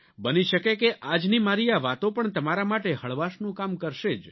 બની શકે કે આજની મારી આ વાતો પણ તમારા માટે હળવાશનું કામ કરશે જ